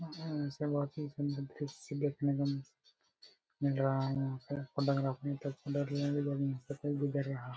उम्म इसमें बहुत हि सुंदर दृश्य देखने को मिल रहा है यहां पे